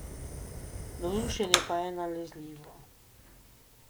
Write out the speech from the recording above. Navdušenje pa je nalezljivo.